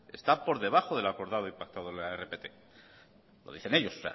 está por debajo de lo acordado y pactado en la rpt lo dicen ellos